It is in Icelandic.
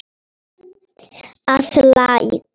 að Læk.